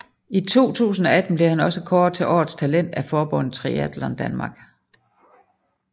I 2018 blev han også kåret til årets talent af forbundet Triatlon Danmark